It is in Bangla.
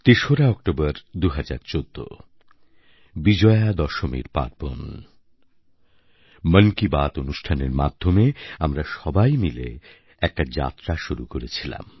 ৩রা অক্টোবর ২০১৪ বিজয়া দশমীর পার্বণ মন কি বাত অনুষ্ঠানের মাধ্যমে আমরা সবাই মিলে একটা যাত্রা শুরু করেছিলাম